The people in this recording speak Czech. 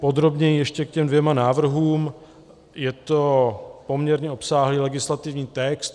Podrobněji ještě k těm dvěma návrhům - je to poměrně obsáhlý legislativní text.